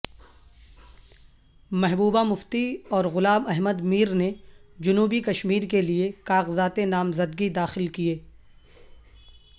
محبوبہ مفتی اور غلام احمد میر نے جنوبی کشمیر کے لئے کاغذات نامزدگی داخل کئے